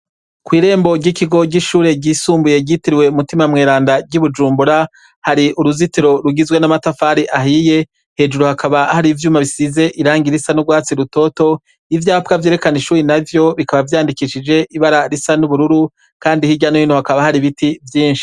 Kw'irembo ry'ikigo ry'ishure ryisumbuye ryitiriwe umutima mweranda ry'i bujumbura hari uruzitiro rugizwe n'amatafari ahiye hejuru hakaba hari ivyuma bisize iranga irisa n'urwatsi rutoto ivyapwa vyerekana ishuri na vyo bikaba vyandikishije ibara risa n'ubururu, kandi h'irya n'ouhino hakaba hari ibiti vyinshi.